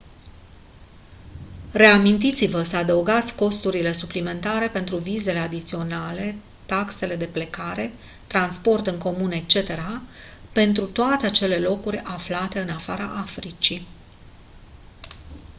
reamintiți-vă să adăugați costurile suplimentare pentru vizele adiționale taxele de plecare transport în comun etc pentru toate acele locuri aflate în afara africii